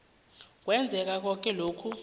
kwenzeka koke lokhu